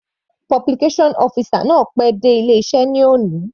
Publication officer náà pé dé ilé iṣẹ́ ní òní.